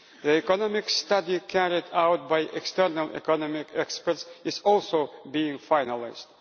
The economic study carried out by external economic experts is also being finalised.